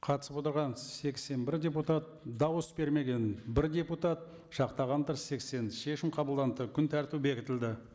қатысып отырған сексен бір депутат дауыс бермеген бір депутат жақтағандар сексен шешім қабылданды күн тәртібі бекітілді